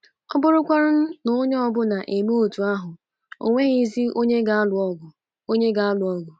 Ọ bụrụkwa na onye ọ bụla emee otú ahụ, o nweghịzi onye ga-alụ ọgụ. onye ga-alụ ọgụ. ”